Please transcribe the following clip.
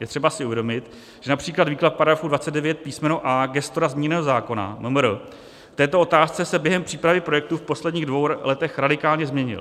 Je třeba si uvědomit, že například výklad § 29 písm. a) gestora zmíněného zákona, MMR, k této otázce se během přípravy projektu v posledních dvou letech radikálně změnil.